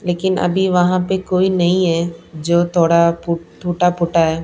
लेकिन अभी वहां पर कोई नहीं है जो थोड़ा टूटा फूटा है।